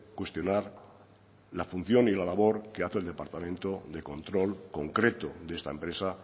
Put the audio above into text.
cuestionar la función y la labor que hace el departamento de control concreto de esta empresa